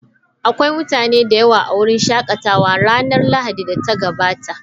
Akwai mutane da yawa a wurin shakatawa a ranar Lahadin da ta gabata.